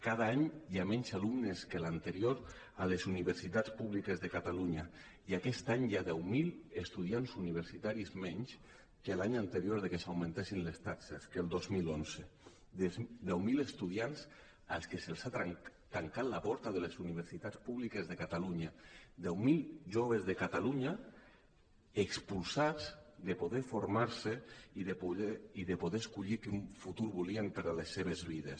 cada any hi ha menys alumnes que l’anterior a les uni·versitats públiques de catalunya i aquest any hi ha deu mil estudiants universitaris menys que l’any anterior que s’augmentessin les taxes que el dos mil onze deu mil estu·diants als que se’ls ha tancat la porta de les universitats públiques de catalunya deu mil joves de catalunya expulsats de poder formar·se i de poder escollir quin futur volien per a les seves vides